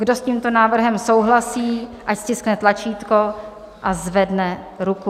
Kdo s tímto návrhem souhlasí, ať stiskne tlačítko a zvedne ruku.